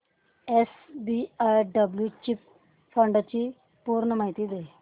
SBI blue chip fund ची पूर्ण माहिती दे